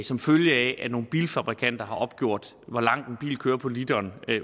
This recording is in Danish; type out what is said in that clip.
som følge af at nogle bilfabrikanter har opgjort hvor langt en bil kører på literen